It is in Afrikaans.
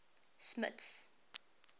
smuts